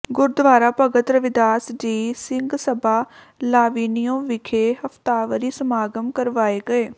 Gurdwara Bhagat Ravidas ji Singh Sabha Lavinio ਵਿਖੇ ਹਫਤਾਵਾਰੀ ਸਮਾਗਮ ਕਰਵਾਏ ਗਏ